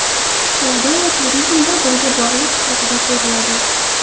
Savdo va turizm bir-biriga bog‘liq sifatida ko‘riladi.